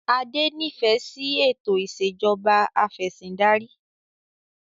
Adé nifẹ si ètò ìsèjọba afẹ̀sindarí